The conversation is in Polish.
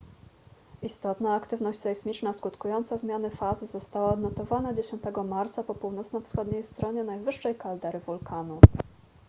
istotna aktywność sejsmiczna skutkująca zmiany fazy została odnotowana 10 marca po północno-wschodniej stronie najwyższej kaldery wulkanu